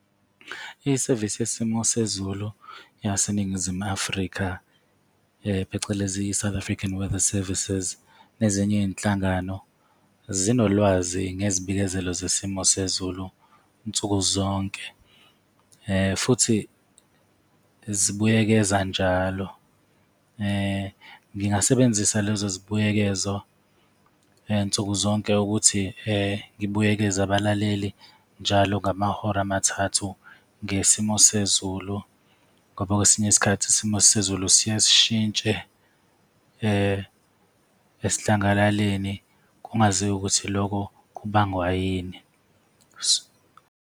Isevisi yesimo sezulu yaseNingizimu Afrika, phecelezi i-South African Weather Services nezinye izinhlangano, zinolwazi ngezibikezela zesimo sezulu nsuku zonke futhi zibuyekeza njalo. Ningasebenzisa lezo zibuyekezo nsuku zonke ukuthi ngibuyekeze abalaleli njalo ngamahora amathathu ngesimo sezulu ngoba kwesinye isikhathi isimo sezulu siye sishintshe esidlangalaleni, kungaziwa ukuthi lokho kubangwa yini.